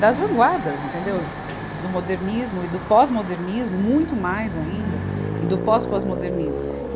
das vanguardas, entendeu, do modernismo e do pós-modernismo, muito mais ainda, e do pós-pós-modernismo.